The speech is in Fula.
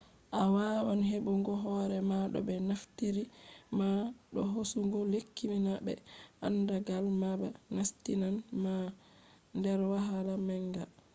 a wawan heɓugo hore ma do ɓe naftiri ma do hosugo lekki na be andagal ma ba nastinan ma der wahala manga